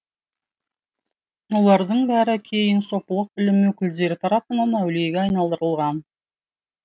олардың бәрі кейін сопылық ілім өкілдері тарапынан әулиеге айналдырылған